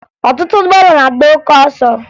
Ọtụtụ ụgbọala na-agba oke ọsọ